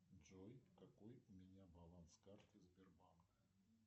джой какой у меня баланс карты сбербанка